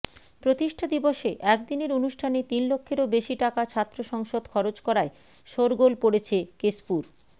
প্রতিষ্ঠা দিবসে একদিনের অনুষ্ঠানে তিন লক্ষেরও বেশি টাকা ছাত্র সংসদ খরচ করায় শোরগোল পড়েছে কেশপুর